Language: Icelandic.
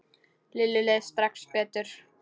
Lillu leið strax betur.